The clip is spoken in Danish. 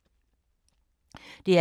DR P2